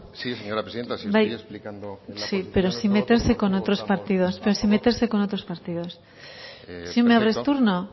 sí señora presidenta si me estoy explicando sí pero sin meterse con otros partidos si me abres turno